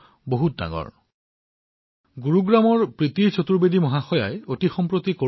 মোৰ মৰমৰ দেশবাসীসকল এইটো সঁচা যে বহুতো লোক কৰোনাৰ দ্বাৰা সংক্ৰমিত হৈছে কিন্তু কৰোনাৰ পৰা আৰোগ্য হোৱা লোকৰ সংখ্যাও সমানে বেছি